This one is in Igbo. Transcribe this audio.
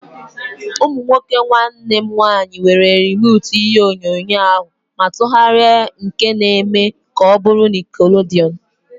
Ụmụ nwoke nwanne m nwaanyị were rimotu ihe onyonyo ahu ma tụgharịa nke na eme ka ọ bụrụ nickelodeon